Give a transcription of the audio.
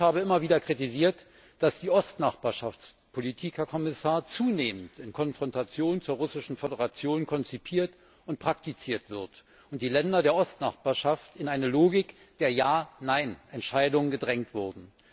Ich habe immer wieder kritisiert, dass die Politik der Östlichen Nachbarschaft, Herr Kommissar, zunehmend in Konfrontation zur Russischen Föderation konzipiert und praktiziert wird und die Länder der Östlichen Nachbarschaft in eine Logik der Ja Nein Entscheidungen gedrängt wurden.